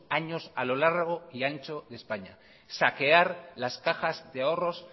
años a lo largo y ancho de españa saquear las cajas de ahorros